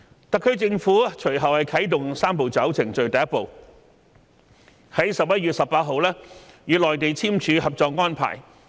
特區政府隨後啟動"三步走"程序的第一步，於11月18日與內地簽署《合作安排》。